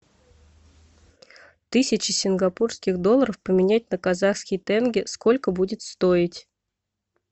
тысяча сингапурских долларов поменять на казахские тенге сколько будет стоить